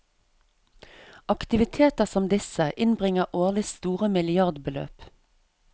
Aktiviteter som disse innbringer årlig store milliardbeløp.